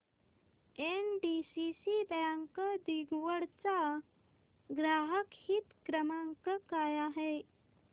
NDCC bank दिघवड चा ग्राहक हित क्रमांक काय आहे